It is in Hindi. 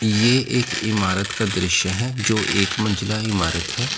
ये एक इमारत का दृश्य है जो एक मंजिला इमारत है।